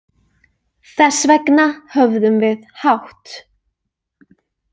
Þess vegna höfðum við hátt.